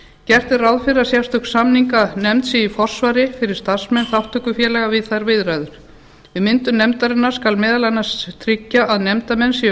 gert er ráð fyrir að sérstök samninganefnd sé í forsvari fyrir starfsmenn þátttökufélaga við þær viðræður við myndun nefndarinnar skal meðal annars tryggja að nefndarmenn séu